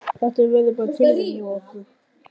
Þetta verður bara tilraun hjá okkur.